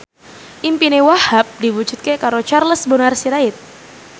impine Wahhab diwujudke karo Charles Bonar Sirait